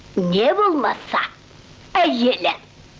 не болмаса әйелі